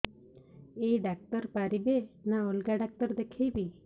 ଏଇ ଡ଼ାକ୍ତର ପାରିବେ ନା ଅଲଗା ଡ଼ାକ୍ତର ଦେଖେଇବି